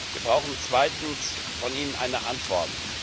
Wir brauchen zweitens von Ihnen eine Antwort.